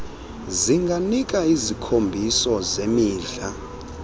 zinganika isikhombiso semidla